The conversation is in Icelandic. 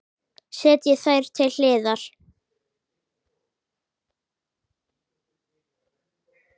Setjið þær til hliðar.